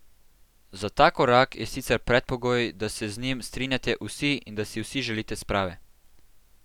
Za ta korak je sicer predpogoj, da se z njim strinjate vsi in da si vsi želite sprave.